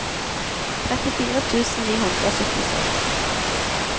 trettifire tusen ni hundre og syttiseks